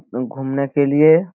उम घुमने के लिए --